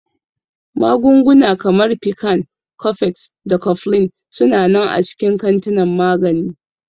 Magunguna kamar Piccan, Cofex, da Cofflin su na nan a cikin kantinan magani.